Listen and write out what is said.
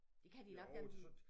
Det kan de nok dem de